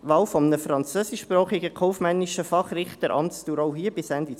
Wahl eines französischsprachigen kaufmännischen Fachrichters, auch hier mit Amtsdauer bis 2022.